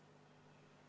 Mis tuleb selle tagajärjel?